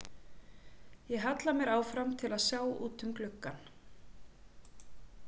Ég halla mér áfram til að sjá út um gluggann.